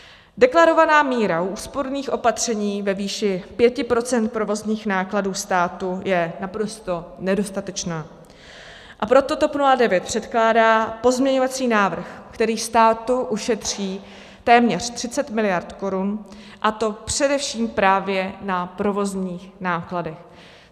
Deklarovaná míra úsporných opatření ve výši 5 % provozních nákladů státu je naprosto nedostatečná, a proto TOP 09 předkládá pozměňovací návrh, který státu ušetří téměř 30 miliard korun, a to především právě na provozních nákladech.